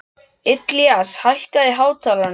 Ilías, hækkaðu í hátalaranum.